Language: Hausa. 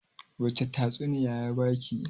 wacece tatsuniya ya ba ki?